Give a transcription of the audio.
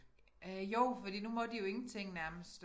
Øh jo fordi nu må de jo ingenting nærmest